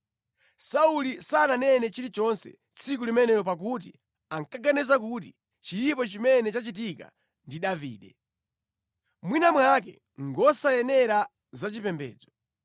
Sauli sananene chilichonse tsiku limenelo pakuti ankaganiza kuti “Chilipo chimene chachitika ndi Davide. Mwina mwake ngosayenera za chipembedzo.”